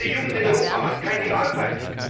Unsere Jugend in Europa hat keine Arbeit!